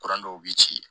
Kuran dɔw bi ci